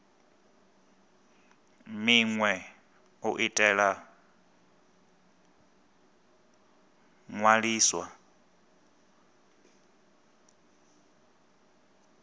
minwe u itela u ṅwalisa